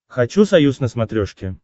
хочу союз на смотрешке